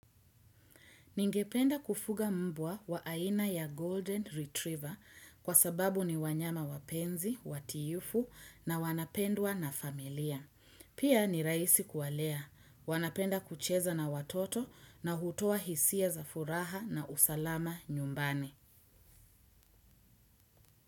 Ningependa kufuga mbwa wa aina ya Golden Retriever kwa sababu ni wanyama wapenzi, watiifu na wanapendwa na familia. Pia nirahisi kuwalea, wanapenda kucheza na watoto na hutoa hisia za furaha na usalama nyumbani.